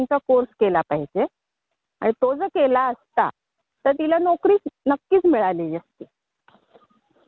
म्हणजे त्याल colour theory आहे थॉट प्रोसेस आहे डिलिव्हरी मेसेज आहे हे सगळे